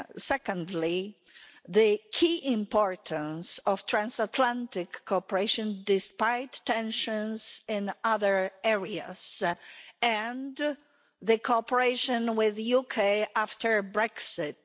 Secondly, the key importance of transatlantic cooperation, despite tensions in other areas, and cooperation with the UK after Brexit.